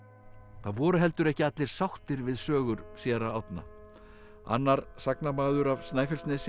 það voru heldur ekki allir sáttir við sögur séra Árna annar sagnamaður af Snæfellsnesi